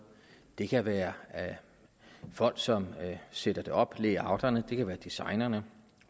det kan være folk som sætter det op layouterne det kan være designerne